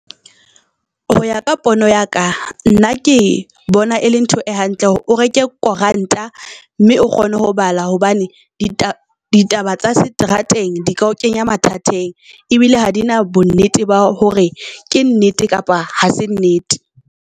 Ho ya ka pono ya ka nna ke bona e le ntho e hantle hore o reke koranta mme o kgone ho bala. Hobane ditaba ditaba tsa seterateng di ka o kenya mathateng, e bile ha di na bonnete ba hore ke nnete kapa ha se nnete.